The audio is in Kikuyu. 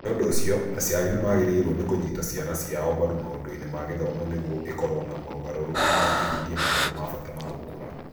Nĩ ũndũ ũcio, aciari nĩ magĩrĩirũo nĩ kũnyita ciana ciao mbaru maũndũ-inĩ ma gĩthomo nĩguo ikorũo na mogarũrũku na ihingie maũndũ ma bata ma gũkũra.